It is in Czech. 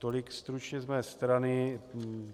Tolik stručně z mé strany.